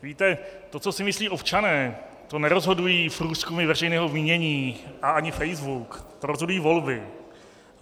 Víte, to, co si myslí občané, to nerozhodují průzkumy veřejného mínění a ani Facebook, to rozhodují volby.